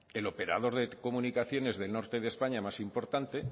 el operador de comunicaciones del norte de españa más importante